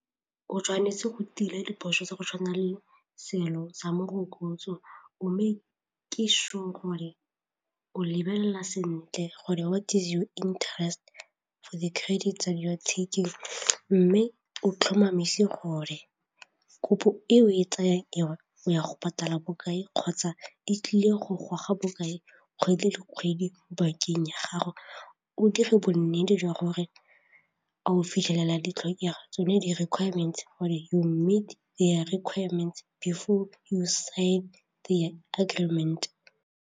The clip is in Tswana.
O tshwanetse go tila diphoso tsa go tshwana le seelo sa morokotso o make-e sure gore o lebelela sentle gore what is your interest for the credit that you are taking mme o tlhomamise gore kopo eo e tsayang eo o ya go patala bokae kgotsa e tlile go goga bokae kgwedi le kgwedi bankeng ya gago, o dire bonnete jwa gore a o fitlhelela ditlhokego tsone di-reqirements whether you meet their requirements before you sign their agreement.